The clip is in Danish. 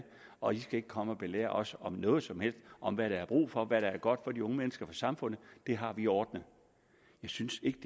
og i skal ikke komme og belære os noget som helst om hvad der er brug for og hvad der er godt for de unge mennesker og samfundet det har vi ordnet jeg synes ikke